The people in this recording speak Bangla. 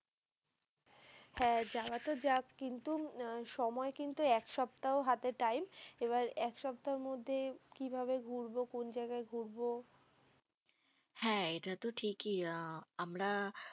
হ্যাঁ যাওয়া তো যাক। কিন্তু সময় কিন্তু এক সপ্তাহ হাতে time এবার এক সপ্তাহের মধ্যে কিভাবে ঘুরবো, কোন জাগায় ঘুরবো, হ্যাঁ এটা তো ঠিকই আ আমরা